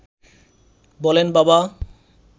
বলেন বাবা